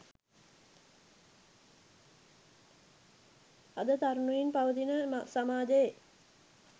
අද තරුණයින් පවතින සමාජයේ